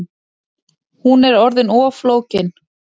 Hún er orðin of flókin